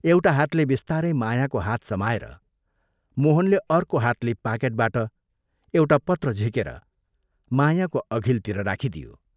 एउटा हातले बिस्तारै मायाको हात समाएर मोहनले अर्को हातले पाकेटबाट एउटा पत्र झिकेर मायाको अघिल्तिर राखिदियो।